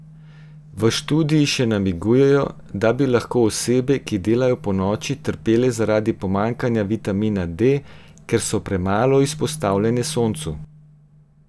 V študiji še namigujejo, da bi lahko osebe, ki delajo ponoči, trpele zaradi pomanjkanja vitamina D, ker so premalo izpostavljene soncu.